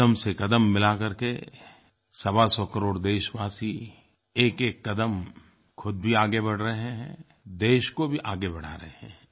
क़दम से क़दम मिला करके सवा सौ करोड़ देशवासी एकएक क़दम ख़ुद भी आगे बढ़ रहे हैं देश को भी आगे बढ़ा रहे हैं